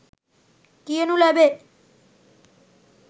කියනු ලැබේ.